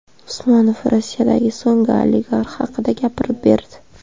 Usmonov Rossiyadagi so‘nggi oligarx haqida gapirib berdi.